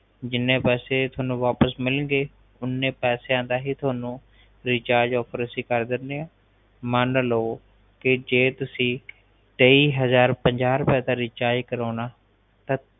ਜਿੰਨੇ ਪੈਸੇ ਤੁਹਾਨੂੰ ਵਾਪਸ ਮਿਲਣ ਗਏ ਓਹਨੇ ਪੈਸਿਆਂ ਦਾ ਹੀ ਤੁਹਨੂੰ ਰਿਚਾਰਜ ਆਫ਼ਰ ਕਰ ਦਿੰਦੈ ਮਾਨਲੋ ਜੇ ਤੁਸੀ ਤੇਈ ਹਜਾਰ ਪੰਜਾਹ ਰੁਪਏ ਦਾ ਰਿਚਾਰਜ ਕਰਾਉਣਾ ਤਾਂ